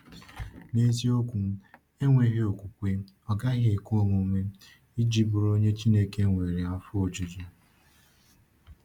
N’eziokwu, “enweghị okwukwe, ọ gaghị ekwe omume iji bụrụ onye Chineke nwere afọ ojuju.”